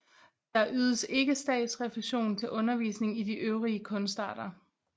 Der ydes ikke statsrefusion til undervisning i de øvrige kunstarter